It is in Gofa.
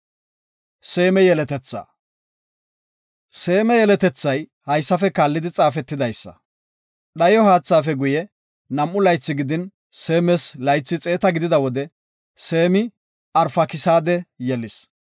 Seema yeletethay haysafe kaallidi xaafetidaysa; dhayo haathaafe guye, nam7u laythi gidin, Seemas laythi xeeta gidida wode, Seemi Arfakisaade yelis.